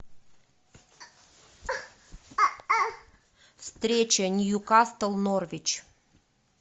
встреча ньюкасл норвич